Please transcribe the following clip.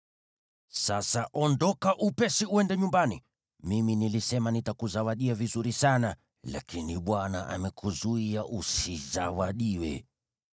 Sasa ondoka upesi uende nyumbani! Mimi nilisema nitakuzawadia vizuri sana, lakini Bwana amekuzuia usizawadiwe.”